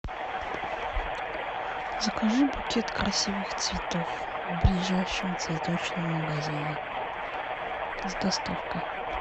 закажи букет красивых цветов в ближайшем цветочном магазине с доставкой